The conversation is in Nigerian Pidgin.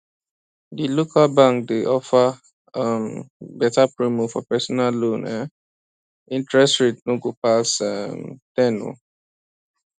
di local bank dey offer um beta promo for personal loan um interest rate no go pass um ten oh